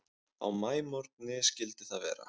Á maímorgni skyldi það vera.